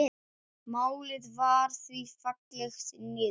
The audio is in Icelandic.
Málið var því fellt niður.